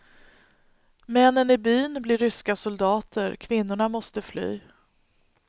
Männen i byn blir ryska soldater, kvinnorna måste fly.